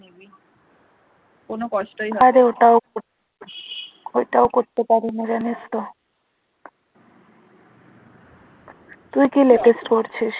তুই কি latest করছিস